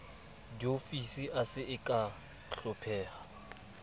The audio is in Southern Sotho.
diofisi a se kea hlopheha